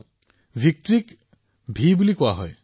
আচ্ছা ভিক্টৰীৰ ভি দেখুৱায়